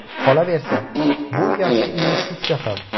Qolaversa, bu yaxshi investitsiya ham.